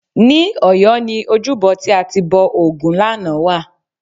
Ní Ọ̀yọ́ ni ojúbọ tí a ti bọ ògún lánàá wà